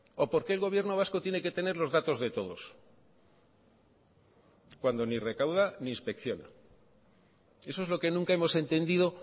o por qué el gobierno vasco tiene que tener los datos de todos cuando ni recauda ni inspecciona eso es lo que nunca hemos entendido